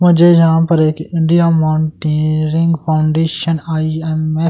मुझे यहां पर एक इंडिया माउंटेनीरिंग फाउंडेशन आई_एम --